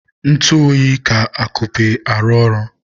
ntụ oyi ka atupe arụ ọrụ